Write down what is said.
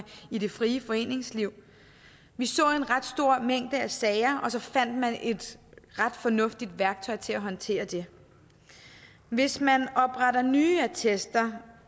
i det frie foreningsliv vi så en ret stor mængde af sager og så fandt man et ret fornuftigt værktøj til at håndtere det hvis man opretter nye attester